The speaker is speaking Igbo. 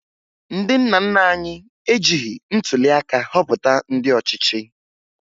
Ndị nna nna anyị ejighi ntụliaka họpụta ndị ọchịchị